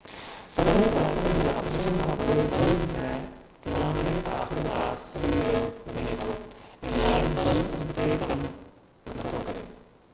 سوين ڪلاڪن جي آپريشن کان پوءِ بلب ۾ فلامينٽ آخرڪار سڙي وڃي ٿو ۽ لائٽ بلب اڳتي ڪم نٿو ڪري